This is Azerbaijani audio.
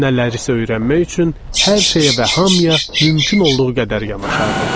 Nələrisə öyrənmək üçün hər şeyə və hamıya mümkün olduğu qədər yanaşardıq.